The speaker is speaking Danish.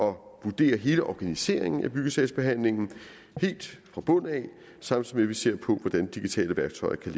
vurdere hele organiseringen af byggesagsbehandlingen helt fra bunden samtidig vi ser på hvordan digitale værktøjer kan